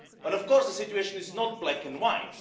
Of course, the situation is not black and white.